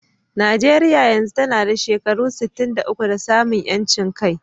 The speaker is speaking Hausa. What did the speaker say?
Najeriya yanzu tana da shekaru sittin da uku da samun ƴancin kai.